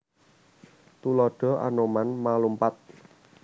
Tuladha Anoman ma/lumpat